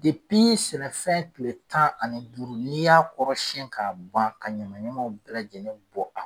sɛnɛfɛn tile tan ani duuru n'i y'a kɔrɔ siɲɛ k'a ban ka ɲamaɲamaw bɛɛ lajɛlen bɔ a